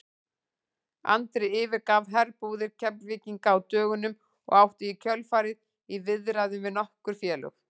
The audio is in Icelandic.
Andri yfirgaf herbúðir Keflvíkinga á dögunum og átti í kjölfarið í viðræðum við nokkur félög.